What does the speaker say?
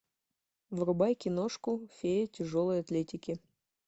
врубай киношку фея тяжелой атлетики